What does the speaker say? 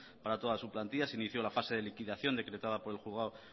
para toda su plantilla se inició la fase de liquidación decretada por el juzgado